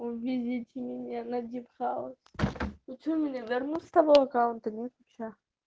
увезите меня на дип хауз ну что меня вернут с того аккаунта нет вообще